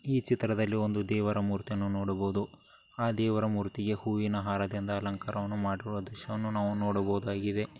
ಈ ಚಿತ್ರದಲ್ಲಿ ಒಂದು ದೇವರ ಮೂರ್ತಿಯನ್ನ ನೋಡಬಹುದು. ಆ ದೇವರ ಮೂರ್ತಿನ ಹೂವಿನ ಹಾರದಿಂದ ಅಲಂಕಾರನು ಮಾಡುವ ದೃಶ್ಯವನ್ನು ನಾವು ನೋಡಬಹುದಾಗಿದೆ.